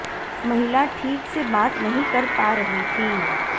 महिला ठीक से बात नहीं कर पा रही थी